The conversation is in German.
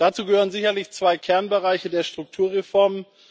Dazu gehören sicherlich zwei Kernbereiche der Strukturreformen.